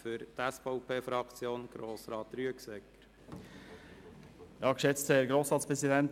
Für die SVP-Fraktion erhält Grossrat Rüegsegger das Wort.